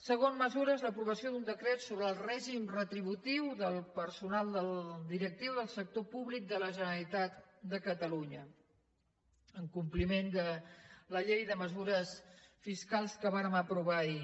segon mesures l’aprovació sobre el règim retributiu del personal directiu del sector públic de la generalitat de catalunya en compliment de la llei de mesures fiscals que vàrem aprovar ahir